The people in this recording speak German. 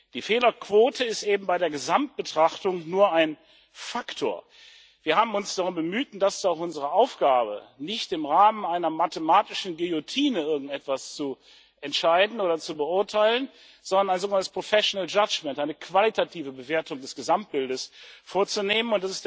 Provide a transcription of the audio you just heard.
Die Fehlerquote ist eben bei der Gesamtbetrachtung nur ein Faktor. Wir haben uns darum bemüht und das ist auch unsere Aufgabe nicht im Rahmen einer mathematischen Guillotine irgendetwas zu entscheiden oder zu beurteilen, sondern ein sogenanntes professional judgement, eine qualitative Bewertung des Gesamtbildes vorzunehmen.